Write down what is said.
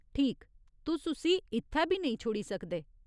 ठीक, तुस उस्सी इत्थै बी नेईं छोड़ी सकदे।